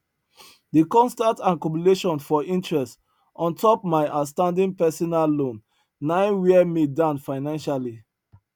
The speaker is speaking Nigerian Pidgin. di constant accumulation for interest on top mai outstanding personal loan na wear me down financially